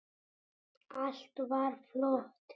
Allt var flott.